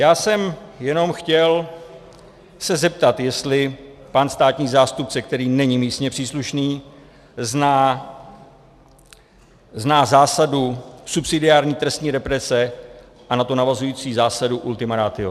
Já jsem jenom chtěl se zeptat, jestli pan státní zástupce, který není místně příslušný, zná zásadu subsidiární trestní represe a na to navazující zásadu ultima ratio.